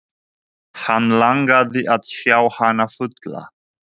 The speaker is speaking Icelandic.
Hann langaði að sjá hana fulla.